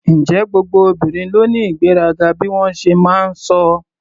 Ǹjẹ́ gbogbo obìnrin ló ní ìgbéraga bí wọ́n ṣe máa ń sọ?